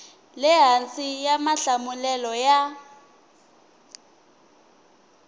le hansi xa mahlamulelo ya